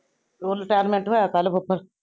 ਓਹੋ retirement ਹੋਇਆ ਕਲ ਕੇ ਪਰਸੋ।